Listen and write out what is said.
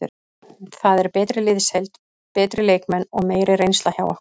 Það er betri liðsheild, betri leikmenn og meiri reynsla hjá okkur.